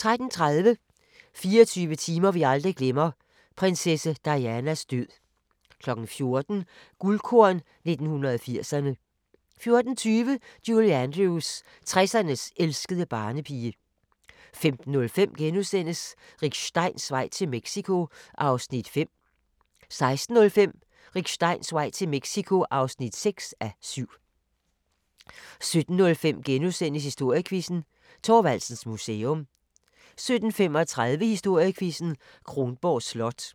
13:30: 24 timer vi aldrig glemmer – prinsesse Dianas død 14:00: Guldkorn 1980'erne 14:20: Julie Andrews – 60'ernes elskede barnepige 15:05: Rick Steins vej til Mexico (5:7)* 16:05: Rick Steins vej til Mexico (6:7) 17:05: Historiequizzen: Thorvaldsens Museum * 17:35: Historiequizzen: Kronborg Slot 18:05: